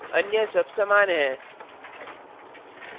अन्य सब समान हैं